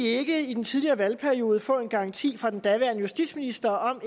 ikke i den tidligere valgperiode få en garanti fra den daværende justitsminister om at